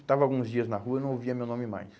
Estava alguns dias na rua e não ouvia meu nome mais.